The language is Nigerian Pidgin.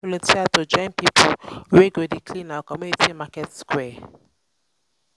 um i um don volunteer to join pipo wey go dey clean our community market square.